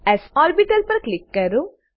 SL orbital પર click કરો